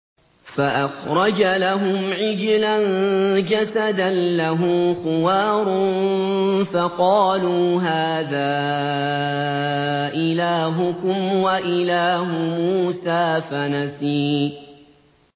فَأَخْرَجَ لَهُمْ عِجْلًا جَسَدًا لَّهُ خُوَارٌ فَقَالُوا هَٰذَا إِلَٰهُكُمْ وَإِلَٰهُ مُوسَىٰ فَنَسِيَ